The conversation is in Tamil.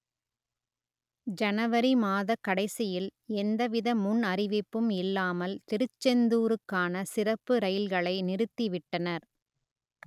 ஜனவரி மாத கடைசியில் எந்தவித முன் அறிவிப்பும் இல்லாமல் திருச்செந்தூருக்கான சிறப்பு ரயில்களை நிறுத்திவிட்டனர்